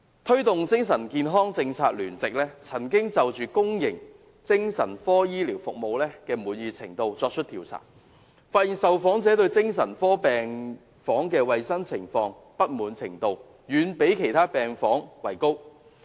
推動精神健康政策聯席曾就公營精神科醫療服務滿意程度進行調查，發現受訪者對精神科病房衞生情況的不滿程度，遠高於其他病房。